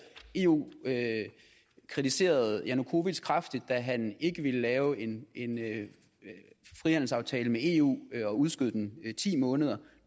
eu kritiserede janukovitj kraftigt da han ikke ville lave en frihandelsaftale med eu og udskød den i ti måneder og